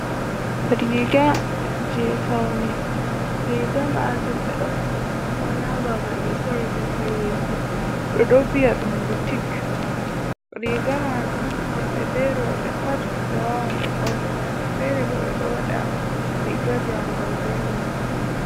Riga je faune riga majum ɓeɗo sora ɗum ha babal ɓe sore kareji ɓeɗo viya ɗum butik. Riga majum worɓe be roɓe pat ɓe wawan ɓe ɓornira fere bo ɓeɗo waɗa riga jangol be majum.